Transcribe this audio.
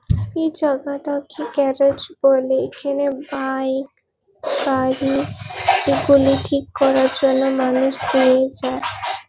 এই জায়গাটাকে গ্যারেজ বলে এইখেনে বইক গাড়ি এগুলি ঠিক করার জন্য মানুষ দিয়ে যায় ।